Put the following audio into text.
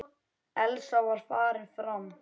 Elsa var farin fram.